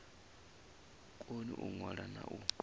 koni u ṅwala na u